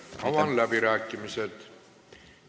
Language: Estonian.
Avan läbirääkimised.